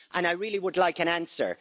I really would like an answer.